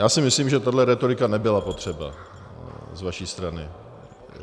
Já si myslím, že tahle rétorika nebyla potřeba z vaší strany.